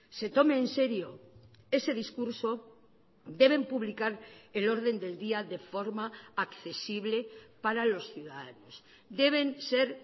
se tome enserio ese discurso deben publicar el orden del día de forma accesible para los ciudadanos deben ser